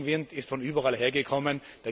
Der Gegenwind ist von überall hergekommen.